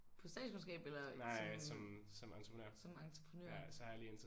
På statskundskab eller som som entreprenør